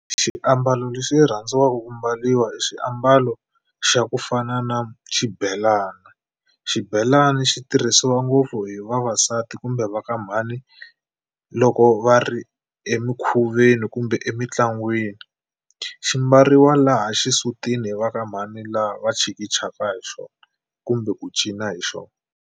Xiambalo lexi rhandziwaka ku mbariwa hi xiambalo xa ku fana na xibelani. Xibelani xi tirhisiwa ngopfu hi vavasati kumbe va ka mhani loko va ri emikhuveni kumbe emitlangwini. Xi mbariwa laha xisutini hi va ka mhani laha va chikichaka hi xona kumbe ku cina hi xona.